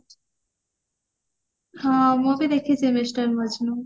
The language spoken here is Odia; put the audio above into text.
ହଁ ମୁଁ ବି ଦେଖିଚି mister ମଜନୂ